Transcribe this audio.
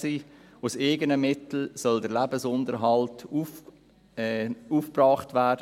Der Lebensunterhalt soll aus eigenen Mitteln aufgebracht werden.